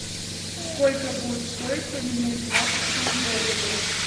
сколько будет стоить поменять двадцать семь боливаров